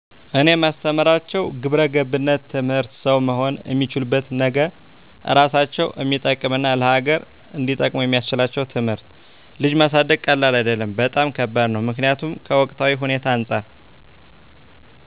እኔ ማስተምራቸው ግብረገብነት ትምህርት ሠው መሆን እሚችሉበትን ነገ እራሳቸውን እሚጠቅም እና ለሀገር እንዲጠቅሙ የሚስችላቸውን ትምህርት። ልጅ ማሳደግ ቀላል አደለም በጣም ከባድ ነው ምክኒያቱም ከወቅታዊ ሁኔታው አንፃር